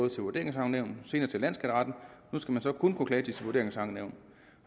til vurderingsankenævn og senere til landsskatteretten nu skal man så kun kunne klage til sit vurderingsankenævn